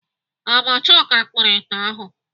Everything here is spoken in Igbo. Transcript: Ọ bụ Chuka kupuru ite ahụ?